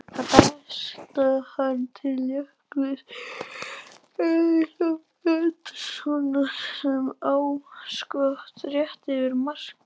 Þar berst hann til Jökuls Elísabetarsonar sem á skot rétt yfir markið.